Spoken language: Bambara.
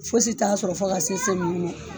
Fosi t'a sɔrɔ fo ka se se minnu ma